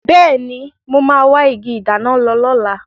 Bẹẹni, mo máa wa igi ìdáná lọ lóla